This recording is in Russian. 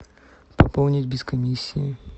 пополнить без комиссии